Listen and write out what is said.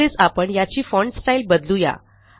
तसेच आपण याची फॉन्ट स्टाईल बदलू या